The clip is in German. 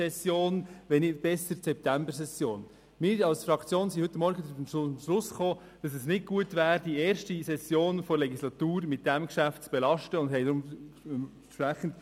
Deshalb sollte das Geschäft auf die Junisession, besser noch auf die Septembersession verschoben werden.